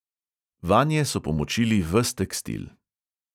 Vanje so pomočili ves tekstil.